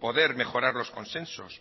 poder mejorar los consensos